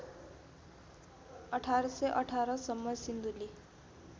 १८१८ सम्म सिन्धुली